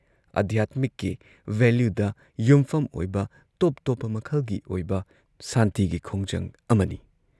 ꯑꯙ꯭ꯌꯥꯠꯃꯤꯛꯀꯤ ꯚꯦꯂ꯭ꯌꯨꯗ ꯌꯨꯝꯐꯝ ꯑꯣꯏꯕ ꯇꯣꯞ ꯇꯣꯞꯄ ꯃꯈꯜꯒꯤ ꯑꯣꯏꯕ ꯁꯥꯟꯇꯤꯒꯤ ꯈꯣꯡꯖꯪ ꯑꯃꯅꯤ ꯫